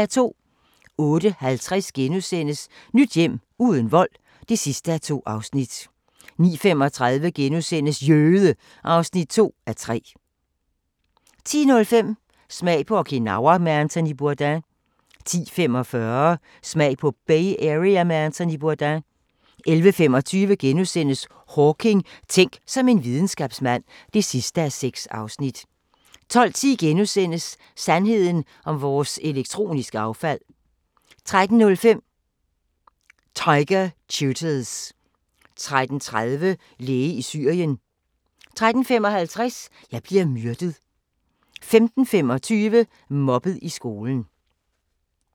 08:50: Nyt hjem – uden vold (2:2)* 09:35: Jøde! (2:3)* 10:05: Smag på Okinawa med Anthony Bourdain 10:45: Smag på Bay Area med Anthony Bourdain 11:25: Hawking: Tænk som en videnskabsmand (6:6)* 12:10: Sandheden om vores elektroniske affald * 13:05: Tiger tutors 13:30: Læge i Syrien 13:55: Jeg bliver myrdet 15:25: Mobbet i skolen